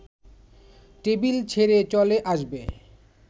table ছেড়ে চলে আসবে